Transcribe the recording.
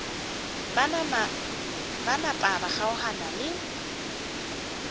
ba napa ba kgaogana le